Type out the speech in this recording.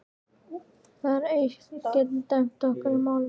Það eitt getur dæmt í okkar málum.